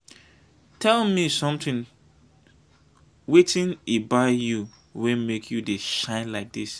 tell me something wetin he buy you wey make you dey shine like dis?